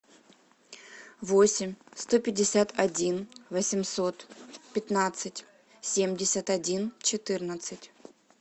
восемь сто пятьдесят один восемьсот пятнадцать семьдесят один четырнадцать